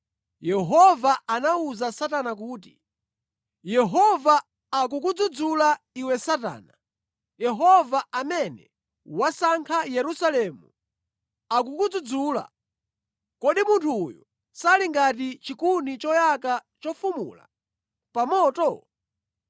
Yehova anawuza Satana kuti, “Yehova akukudzudzula iwe Satana! Yehova amene wasankha Yerusalemu akukudzudzula! Kodi munthu uyu sali ngati chikuni choyaka chofumula pa moto?”